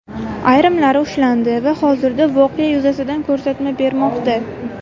Ayrimlari ushlandi va hozirda voqea yuzasidan ko‘rsatma bermoqda.